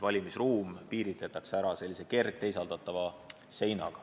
Valimisruum piirataksegi sellise kerge teisaldatava seinaga.